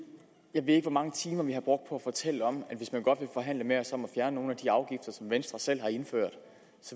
jeg ved ikke hvor mange timer vi har brugt på at fortælle om at hvis man godt vil forhandle med os om at fjerne nogle af de afgifter som venstre selv har indført